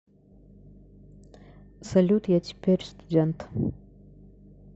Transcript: салют я теперь студент